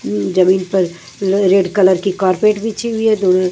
जमीन पर red colour की कार्पेट बिछी हुई है दोनों।